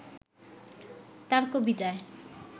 তাঁর কবিতায়